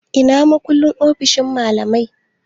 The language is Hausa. Ina makullin ofishin malamai?